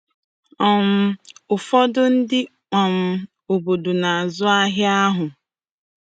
um Ụfọdụ ndị um obodo na-azụ ahịa ahụ.